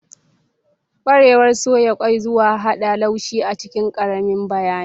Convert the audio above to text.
Ƙwarewar soya ƙwai zuwa hada laushi a cikin ƙaramin bayani.